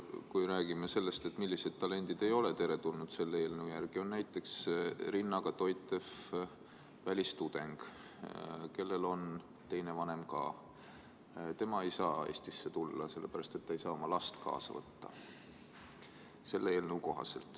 Kui me räägime sellest, millised talendid ei ole selle eelnõu järgi teretulnud, siis näiteks last rinnaga toitev välistudeng, kui teine vanem on ka olemas, ei saa Eestisse tulla, sest selle eelnõu kohaselt ei saa ta oma last kaasa võtta.